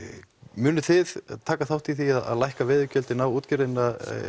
munið þið taka þátt í því að lækka veiðigjöldin á útgerðina